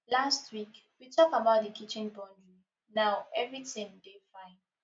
last week we tok about di kitchen boundary now everytin dey fine